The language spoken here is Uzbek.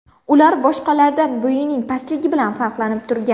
Ular boshqalardan bo‘yining pastligi bilan farqlanib turgan.